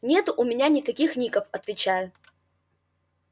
нету у меня никаких ников отвечаю